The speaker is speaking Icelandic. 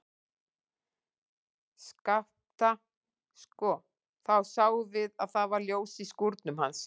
Skapta, sko, þá sáum við að það var ljós í skúrnum hans.